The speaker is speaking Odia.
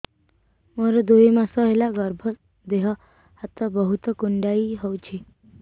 ମୋର ଦୁଇ ମାସ ହେଲା ଗର୍ଭ ଦେହ ହାତ ବହୁତ କୁଣ୍ଡାଇ ହଉଚି